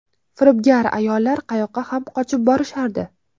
Firibgar ayollar qayoqqa ham qochib borishardi.